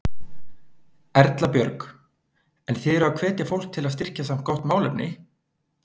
Erla Björg: En þið eruð að hvetja fólk til að styrkja samt gott málefni?